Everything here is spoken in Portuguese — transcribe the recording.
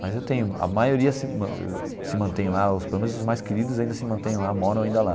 Mas eu tenho a maioria se se mantém lá, os pelo menos os mais queridos ainda se mantêm lá, moram ainda lá.